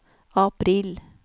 april